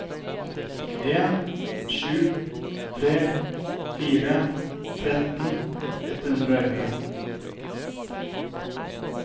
en sju tre fire tretten ett hundre og elleve